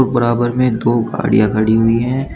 बराबर में दो गाड़ियां खड़ी हुई हैं।